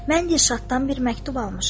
Mən Dilşaddan bir məktub almışam.